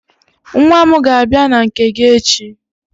Nwa m ga-abia na nke gị echi.